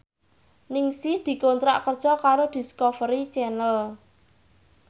Ningsih dikontrak kerja karo Discovery Channel